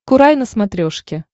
курай на смотрешке